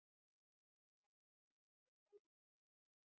Hafðu engar áhyggjur elskan.